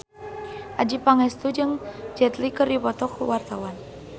Adjie Pangestu jeung Jet Li keur dipoto ku wartawan